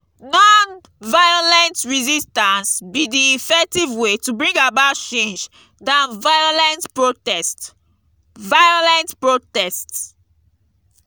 non-violent resistance be di effective way to bring about change than violent protest. violent protest.